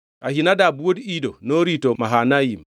Ahinadab wuod Ido norito Mahanaim;